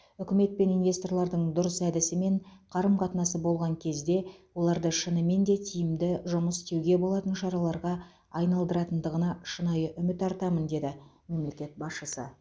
үкімет пен инвесторлардың дұрыс әдісі мен қарым қатынасы болған кезде оларды шынымен де тиімді жұмыс істеуге болатын шараларға айналдыратындығына шынайы үміт артамын деді мемлекет басшысы